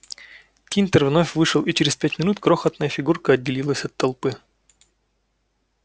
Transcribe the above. тинтер вновь вышел и через пять минут крохотная фигурка отделилась от толпы